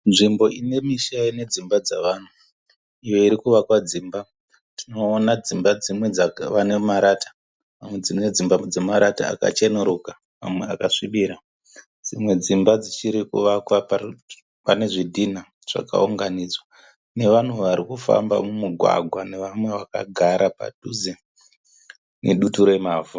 Nzvimbo ine misha ine dzimba dzavanhu iyo iri kuvakwa dzimba. Tinoona dzimba dzimwe dzave nemarata. Dzimwe dzimba dzine marata akacheneruka amwe akasvibira. Dzimwe dzimba dzichiri kuvakwa pane zvidhinha zvakaunganidzwa nevanhu vari kufamba mumugwagwa nevamwe vakagara padhuze nedutu remavhu.